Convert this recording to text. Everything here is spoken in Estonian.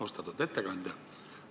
Austatud ettekandja!